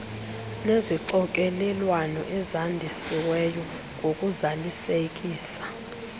nezixokelelwano ezandisiweyo ngokuzalisekisa